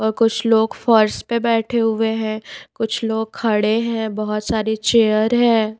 और कुछ लोग फ़र्श पर बैठे हुए हैं कुछ लोग खड़े हैं बहुत सारी चेयर है।